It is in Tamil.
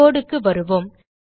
codeக்கு வருவோம்